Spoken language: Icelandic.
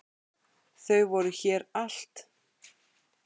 Þau voru þér allt.